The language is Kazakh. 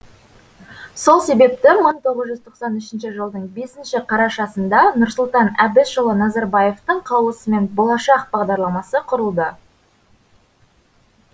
сол себепті мың тоғыз жүз тоқсан үшінші жылдың бесінші қарашасында нұрсұлтан әбішұлы назарбаевтың қаулысымен болашақ бағдарламасы құрылды